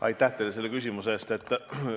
Aitäh teile selle küsimuse eest!